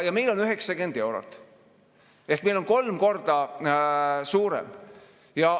Meil on 90 eurot ehk meil on kolm korda suurem.